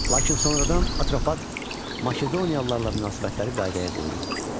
Lakin sonradan Atropat Makedoniyalılarla münasibətləri qaydaya qoydu.